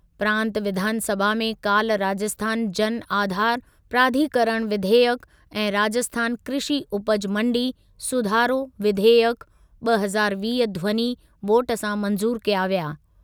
प्रांतु विधानसभा में काल्ह राजस्थान जन आधार प्राधिकरण विधेयकु ऐं राजस्थान कृषी उपज मण्डी (सुधारो) विधेयकु, ॿ हज़ार वीह ध्वनी वोट सां मंज़ूर कया विया।